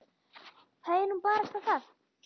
Það er nú barasta það.